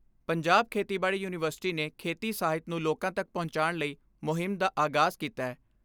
ਪੰਜਾਬ ਖੇਤੀਬਾੜੀ ਯੂਨੀਵਰਸਿਟੀ ਨੇ ਖੇਤੀ ਸਾਹਿਤ ਨੂੰ ਲੋਕਾਂ ਤੱਕ ਪਹੁੰਚਾਣ ਲਈ ਮੁਹਿੰਮ ਦਾ ਆਗਾਜ਼ ਕੀਤੈ।